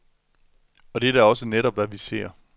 Og det er da også netop, hvad vi ser.